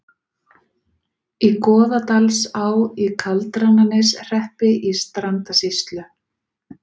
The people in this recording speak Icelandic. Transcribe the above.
Í Goðdalsá í Kaldrananeshreppi í Strandasýslu.